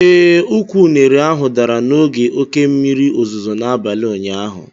ee, ukwu unere ahụ dara n'oge oke mmiri ozuzo n'abalị ụnyaahụ